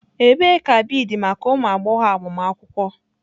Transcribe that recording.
Ebee ka beads maka ụmụ agbọghọ agbamakwụkwọ?